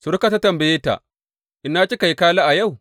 Surukarta ta tambaye ta, Ina kika yi kala a yau?